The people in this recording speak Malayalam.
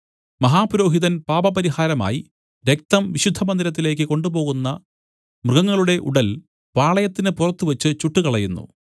മഹാപുരോഹിതൻ പാപപരിഹാരമായി രക്തം വിശുദ്ധമന്ദിരത്തിലേക്കു കൊണ്ടുപോകുന്ന മൃഗങ്ങളുടെ ഉടൽ പാളയത്തിന് പുറത്തുവച്ച് ചുട്ടുകളയുന്നു